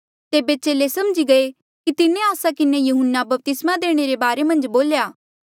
तेबे चेले समझी गये कि तिन्हें आस्सा किन्हें यहून्ना बपतिस्मा देणे वाल्ऐ रे बारे मन्झ बोल्या